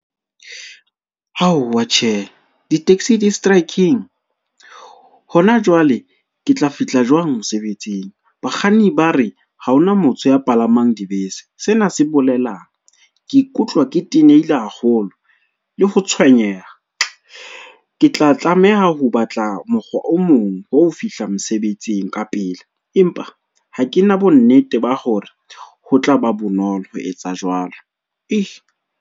Aowa tjhe, di-taxi distraekeng? Hona jwale ke tla fihla jwang mosebetsing? Bakganni ba re ha hona motho ya palamang dibese, sena se bolelang ke ikutlwa ke tenehile haholo le ho tswenyeha. Ke tla tlameha ho batla mokgwa o mong wa ho fihla mosebetsing ka pele, empa ha ke na bonnete ba hore ho tla ba bonolo ho etsa jwalo .